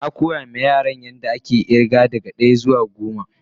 Na koya ma Yaran yan da ake irga daga daya zuwa goma.